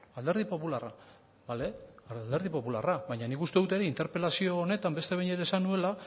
alderdi popularra bale alderdi popularra baina nik uste dut egin interpelazio honetan beste behin ere esan nuela